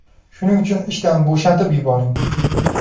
Shuning uchun ishdan bo‘shatib yuboring.